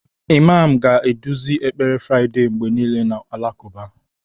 Imam ga-eduzi ekpere Friday mgbe niile n'ụlọ alakụba